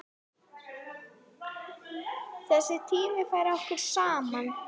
Þessi tími færði okkur saman.